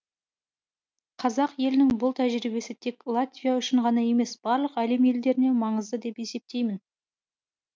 қазақ елінің бұл тәжірибесі тек латвия үшін ғана емес барлық әлем елдеріне маңызды деп есептеймін